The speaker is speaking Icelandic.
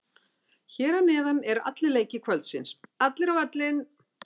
Hér að neðan eru allir leikir kvöldsins, allir á völlinn!